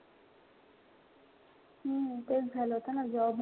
हम्म तेच झालं होत ना job,